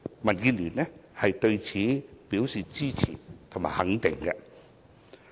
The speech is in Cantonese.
民建聯對此表示支持和肯定。